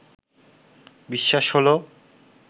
বিশ্বাস হলো